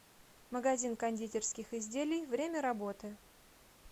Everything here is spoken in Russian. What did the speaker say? магазин кондитерских изделий время работы